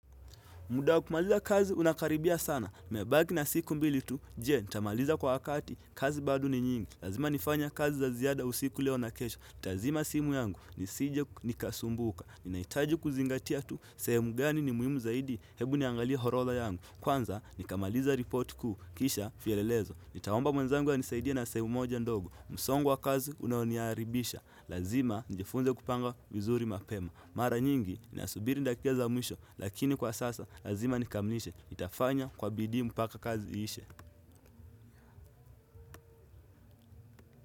Muda wa kumaliza kazi unakaribia sana, nimebaki na siku mbili tu, je, nitamaliza kwa wakati, kazi bado ni nyingi. Lazima nifanya kazi za ziyada usiku leo na kesho, tazima simu yangu, nisije nikasumbuka. Ninaitaji kuzingatia tu, sehemu gani ni muhimu zaidi, hebu niangalie horodha yangu. Kwanza, nikamaliza report kuu, kisha fielelezo. Nitaomba mwenzangu anisaidie na sehemu moja ndogo, msongwa wa kazi unaoniaribisha. Lazima, nijifunze kupanga vizuri mapema. Mara nyingi nasubiri dakika za mwisho lakini kwa sasa lazima nikamilishe itafanya kwa bidii mupaka kazi iishe.